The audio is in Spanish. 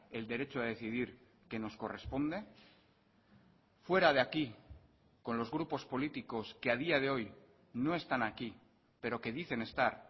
el derecho a decidir que nos corresponde fuera de aquí con los grupos políticos que a día de hoy no están aquí pero que dicen estar